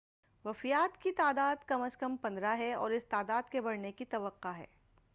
وفیات کی تعداد کم از کم 15 ہے اور اس تعداد کے بڑھنے کی توقع ہے